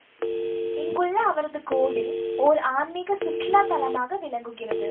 இங்குள்ள அவரது கோவில் ஓர் ஆன்மிக சுற்றுலா தலமாக விளங்குகிறது